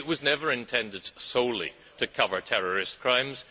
It was never intended solely to cover terrorist crimes